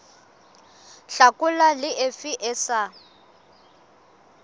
hlakola le efe e sa